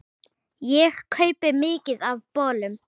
Ég kaupi mikið af bolum.